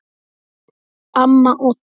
Amma Odda.